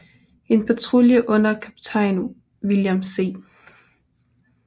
En patrulje under kaptajn William C